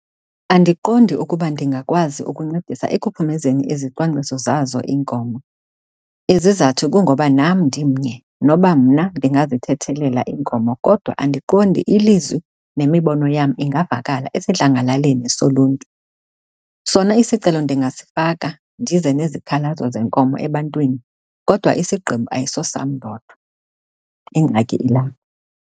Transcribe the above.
Andiqondi ukuba ndingakwazi ukuncedisa ekuphumezeni izicwangciso zazo iinkomo. Izizathu kungoba nam ndimnye, noba mna ndingazithethelela iinkomo kodwa andiqondi ilizwi nemibono yam ingavakala esidlangalaleni soluntu. Sona isicelo ndingasifaka ndize nezikhalazo zeenkomo ebantwini, kodwa isigqibo ayisosam ndodwa. Ingxaki ilapho.